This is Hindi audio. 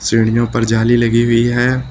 सीढ़ियों पर जाली लगी हुई है।